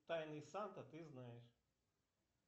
тайный санта ты знаешь